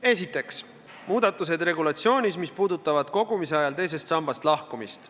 Esiteks, muudatused regulatsioonis, mis puudutavad kogumise ajal teisest sambast lahkumist.